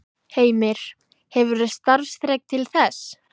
Heimir: Hefurðu starfsþrek til þess?